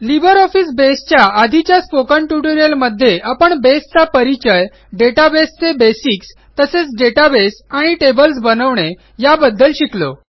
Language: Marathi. लिब्रिऑफिस बसे च्या आधीच्या स्पोकन ट्युटोरियलमध्ये आपण बेसचा परिचय databaseचे बेसिक्स तसेच डेटाबेस आणि टेबल्स बनवणे याबद्दल शिकलो